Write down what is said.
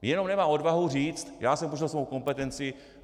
Jenom nemá odvahu říct "já jsem porušil svou kompetenci".